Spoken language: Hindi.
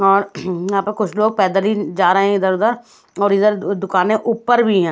और यहाँ पे कुछ लोग पैदल ही जा रहे है इधर उधर और इधर दुकाने उप्पर भी है।